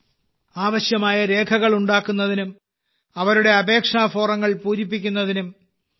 ആവശ്യമായ രേഖകൾ ഉണ്ടാക്കുന്നതിനും അവരുടെ അപേക്ഷാ ഫോമുകൾ പൂരിപ്പിക്കുന്നതിനും ശ്രീ